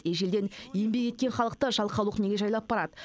ежелден еңбек еткен халықты жалқаулық неге жайлап барады